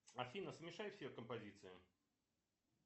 афина смешай все композиции